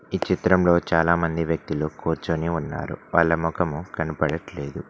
ఈ చిత్రంలో చాలా మంది వ్యక్తులు కూర్చొని ఉన్నారు వాళ్ళ మొఖం కనబడట్లేదు.